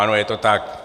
Ano, je to tak.